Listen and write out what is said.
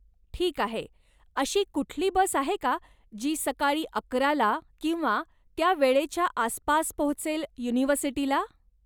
ठीक आहे, अशी कुठली बस आहे का, जी सकाळी अकरा ला किंवा त्या वेळेच्या आसपास पोहोचेल युनिव्हर्सिटीला?